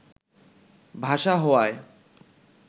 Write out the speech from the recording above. ভাষা হওয়ায়